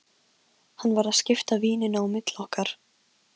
Hann var að skipta víninu á milli okkar!